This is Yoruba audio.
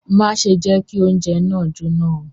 Má ṣe jẹ kí oúnjẹ náà jóná o!